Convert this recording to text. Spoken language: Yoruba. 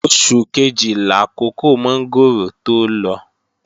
Oṣù kejì làkókò mọ́ngòrò tó lọ